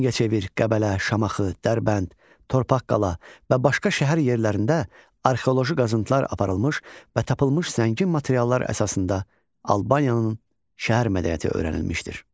Mingəçevir, Qəbələ, Şamaxı, Dərbənd, Torpaqqala və başqa şəhər yerlərində arxeoloji qazıntılar aparılmış və tapılmış zəngin materiallar əsasında Albaniyanın şəhər mədəniyyəti öyrənilmişdir.